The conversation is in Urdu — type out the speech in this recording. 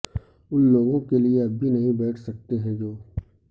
ان لوگوں کے لئے اب بھی نہیں بیٹھ سکتے ہیں جو